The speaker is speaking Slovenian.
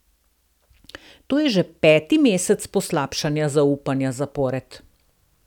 To je že peti mesec poslabšanja zaupanja zapored.